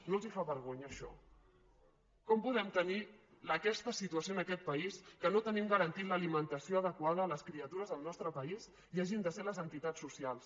no els fa vergonya això com podem tenir aquesta situació en aquest país que no tenim garantida l’alimentació adequada a les criatures del nostre país i hagin de ser les entitats socials